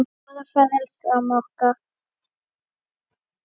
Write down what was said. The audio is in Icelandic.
Góða ferð, elsku amma okkar.